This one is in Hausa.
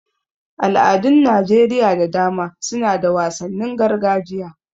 Al'adun Najeriya da dama suna da wasannin gargajiya.